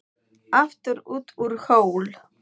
Álfur út úr hól.